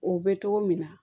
O bɛ togo min na